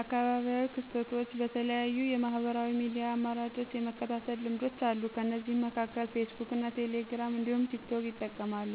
አካባቢያዊ ክስተቶችን በተለያዩ የማህበራዊ ሚድያ አማራጮች የመከታተል ልምዶች አሉ። ከነዚህም መካከል ፌስቡክ እና ቴሌግራም እንዲሁም ቲክቶክን ይጠቀማሉ።